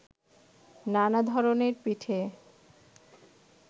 নানা ধরনের পিঠে